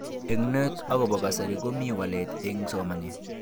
Eng net akobo kasari komi walet eng somanet.